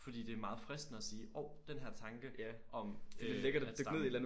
Fordi det er meget fristende at sige hov den her tanke om øh at stamme